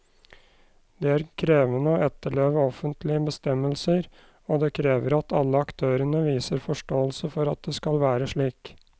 Det er krevende å etterleve offentlige bestemmelser, og det krever at alle aktørene viser forståelse for at det skal være slik.